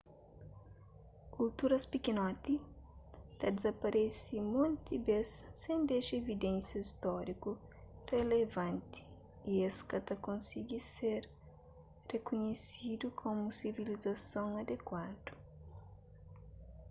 kulturas pikinoti ta dizaparese monti bês sen dexa evidénsia stóriku relevanti y es ka ta konsigi ser rikunhesidu komu sivilizason adekuadu